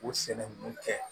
U sɛnɛkun kɛ